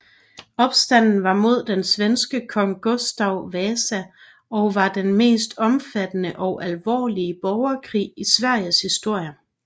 Opstanden var mod den svenske kong Gustav Vasa og var den mest omfattende og alvorlige borgerkrig i Sveriges historie